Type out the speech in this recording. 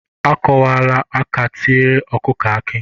Ọ kwụla aka tiere ọkụkụ akị